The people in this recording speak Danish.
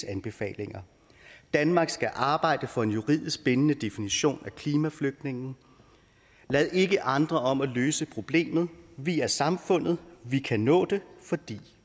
anbefalinger danmark skal arbejde for en juridisk bindende definition af klimaflygtninge lad ikke andre om at løse problemet vi er samfundet vi kan nå det fordi